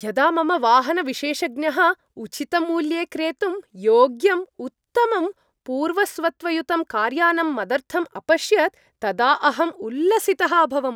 यदा मम वाहनविशेषज्ञः उचितमूल्ये क्रेतुं योग्यम् उत्तमं पूर्वस्वत्वयुतं कार्यानं मदर्थम् अपश्यत् तदा अहं उल्लसितः अभवम्।